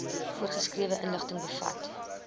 voorgeskrewe inligting bevat